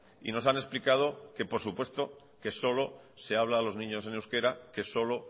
y nos han explicado que por supuesto que solo se habla a los niños en euskera que solo